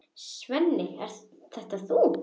Svenni, ert það þú!?